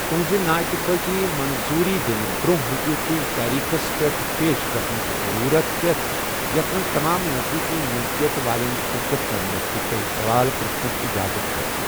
تُہٕنٛزِ نااِتفٲقی منظوٗری دِنہٕ برٛونٛہہ ہیٚکیو تۄہہِ تٲریٖخس پیٹھ پیش گَژھنٕچ ضٔروٗرت پیٚتھ، یَتھ منٛز تمام نزدیٖکی مِلکِیَت والیٚن شِرکت کرنٗك تہٕ تۄہہِ سَوال پٕرٛژھنُک اِجازت آسہِ ۔